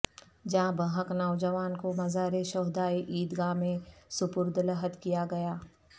جاں بحق نوجوان کو مزار شہداء عید گاہ میں سپرد لحد کیا گیا